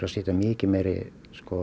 setja mikið meiri